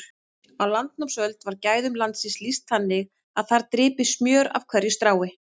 Á landnámsöld var gæðum landsins lýst þannig að þar drypi smjör af hverju strái.